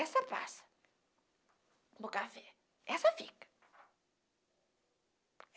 Essa passa para o café, essa fica.